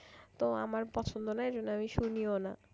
তো আমার পছন্দ না এজন্য আমি শুনিও না।